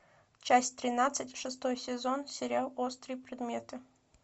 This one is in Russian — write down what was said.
часть тринадцать шестой сезон сериал острые предметы